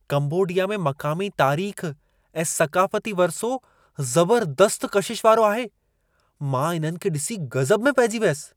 Cambodia में मक़ामी तारीख़ ऐं सक़ाफ़ती वरिसो ज़बरदस्त कशिश वारो आहे! मां इन्हनि खे ॾिसी गज़ब में पइजी वियसि।